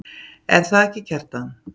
Er það ekki, Kjartan?